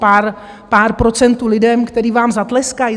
Pár procentům lidí, kteří vám zatleskají?